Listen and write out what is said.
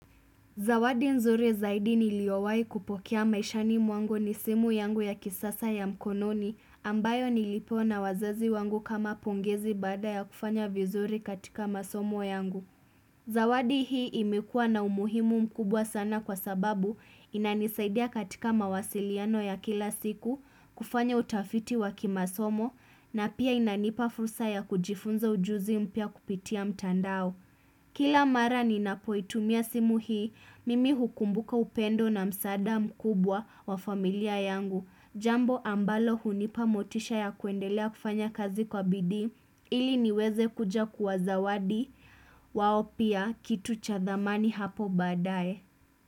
Zawadi nzuri zaidi niliowai kupokea maishani mwangu ni simu yangu ya kisasa ya mkononi ambayo nilipewa na wazazi wangu kama pongezi baada ya kufanya vizuri katika masomo yangu. Zawadi hii imekua na umuhimu mkubwa sana kwa sababu inanisaidia katika mawasiliano ya kila siku kufanya utafiti wa kimasomo na pia inanipa fursa ya kujifunza ujuzi mpya kupitia mtandao. Kila mara ninapoitumia simu hii, mimi hukumbuka upendo na msaada mkubwa wa familia yangu, jambo ambalo hunipa motisha ya kuendelea kufanya kazi kwa bidii, ili niweze kuja kuwa zawadi, wao pia kitu cha thamani hapo baadaye.